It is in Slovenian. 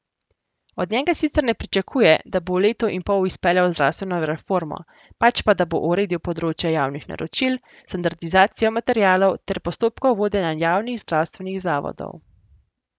Od njega sicer ne pričakuje, da bo v letu in pol izpeljal zdravstveno reformo, pač pa da bo uredil področje javnih naročil, standardizacijo materialov ter postopkov vodenja javnih zdravstvenih zavodov.